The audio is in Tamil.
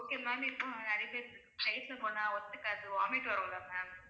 okay ma'am இப்போ நிறைய பேருக்கு flight ல போனா ஒத்துக்காது vomit வரும்ல ma'am